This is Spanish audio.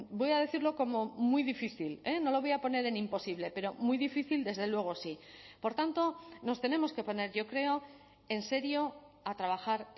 voy a decirlo como muy difícil no lo voy a poner en imposible pero muy difícil desde luego sí por tanto nos tenemos que poner yo creo en serio a trabajar